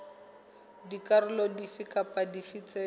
dikarolo dife kapa dife tse